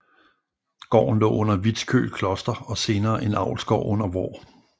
Gården lå under Vitskøl Kloster og senere en avlsgård under Vaar